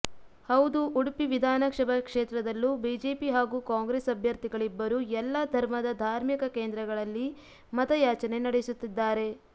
ಹೌದು ಉಡುಪಿ ವಿಧಾನಸಭಾ ಕ್ಷೇತ್ರದಲ್ಲೂ ಬಿಜೆಪಿ ಹಾಗೂ ಕಾಂಗ್ರೆಸ್ ಅಭ್ಯರ್ಥಿಗಳಿಬ್ಬರೂ ಎಲ್ಲಾ ಧರ್ಮದ ಧಾರ್ಮಿಕ ಕೇಂದ್ರಗಳಲ್ಲಿ ಮತಯಾಚನೆ ನಡೆಸುತ್ತಿದ್ದಾರೆ